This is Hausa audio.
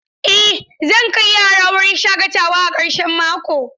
Eh zan kai yara wurin shaƙatawa a karshen mako.